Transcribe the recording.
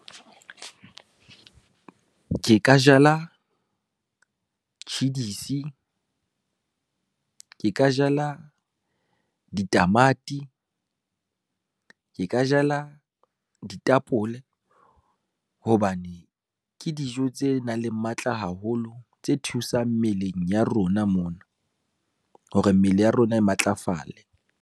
Ke ka jala, tjhidisi, ke ka jala ditamati, ke ka jala ditapole, hobane ke dijo tse nang le matla haholo tse thusang mmeleng ya rona mona hore, mmele ya rona e matlafale.